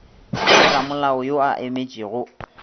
le ramolao yo a emetšego